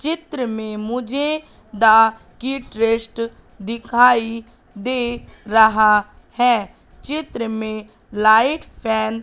चित्र में मुझे द किट रेस्ट दिखाई दे रहा है चित्र में लाइट फैन --